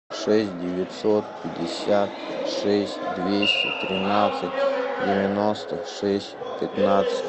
шесть девятьсот пятьдесят шесть двести тринадцать девяносто шесть пятнадцать